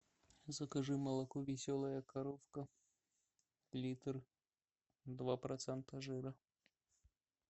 закажи молоко веселая коровка литр два процента жира